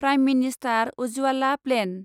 prime minister Ujjwala plan